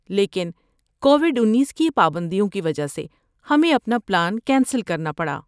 لیکن کووڈ انیس کی پابندیوں کی وجہ سے ہمیں اپنا پلان کینسل کرنا پڑا